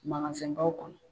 baw kɔnɔ